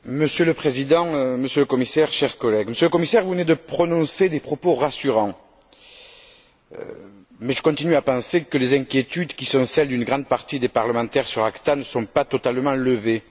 Monsieur le Président, Monsieur le Commissaire, chers collègues, Monsieur le commissaire, vous venez de prononcer des propos rassurants, mais je continue à penser que les inquiétudes qui sont celles d'une grande partie des parlementaires sur l'ACTA ne sont pas totalement levées.